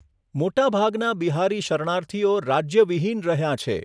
મોટાભાગનાં બિહારી શરણાર્થીઓ રાજ્યવિહીન રહ્યાં છે.